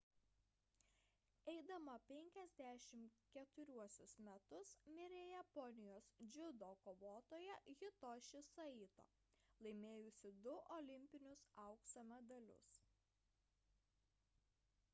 eidama 54 metus mirė japonijos dziudo kovotoja hitoshi saito laimėjusi du olimpinius aukso medalius